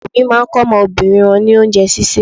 Ọ̀pọ̀ òbí máa ń kọ́ ọmọbìnrin wọn ní oúnjẹ sísè.